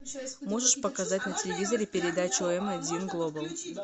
можешь показать на телевизоре передачу м один глобал